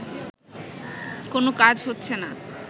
কোনো কাজ হচ্ছে না